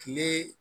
Kile